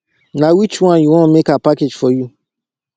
na which one you wan make i package for you